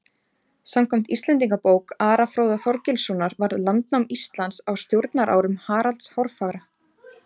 samkvæmt íslendingabók ara fróða þorgilssonar varð landnám íslands á stjórnarárum haralds hárfagra